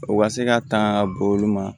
O ka se ka tanga ka bɔ olu ma